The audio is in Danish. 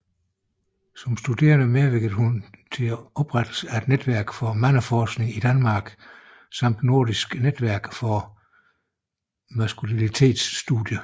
Som studerende medvirkede hun at oprettelsen af Netværk for Mandeforskning i Danmark samt Nordisk netværk for Maskulinitetsstudier